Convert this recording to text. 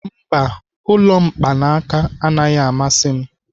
Mba, ụlọ mkpaanaka anaghị amasị m.